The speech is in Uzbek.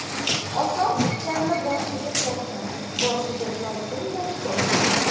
Oson tutganni boshiga solsin, boshiga solsinda ko‘rsin.